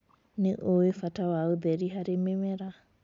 Nĩũĩ bata wa ũtheri harĩ mĩmera.